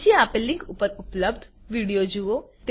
નીચે આપેલ લીંક ઉપર ઉપલબ્ધ વિડીઓ જુઓ